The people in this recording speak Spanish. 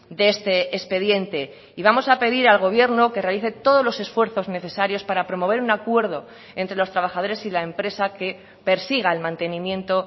de este expediente y vamos a pedir al gobierno que realice todos los esfuerzos necesarios para promover un acuerdo entre los trabajadores y la empresa que persiga el mantenimiento